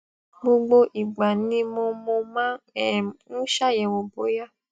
gbogbo ìgbà ni mo mo máa um ń ṣàyẹwò bóyá